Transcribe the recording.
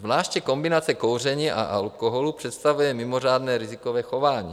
Zvláště kombinace kouření a alkoholu představuje mimořádné rizikové chování.